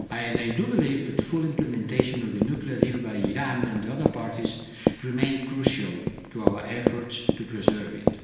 I do believe that full implementation of the nuclear deal by Iran and other parties remain crucial to our efforts to preserve